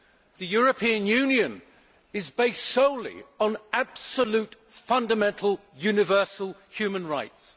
The European Union is based solely on absolute fundamental universal human rights.